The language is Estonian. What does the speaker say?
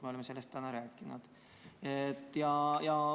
Me oleme sellest täna rääkinud.